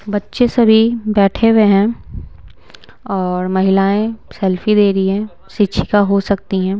बच्चे सभी बैठे हुए हैं और महिलाएं सेल्फी ले रही है शिक्षिका हो सकती हैं।